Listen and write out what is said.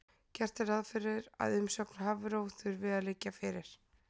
Gert er ráð fyrir að umsögn Hafró þurfi að liggja fyrir.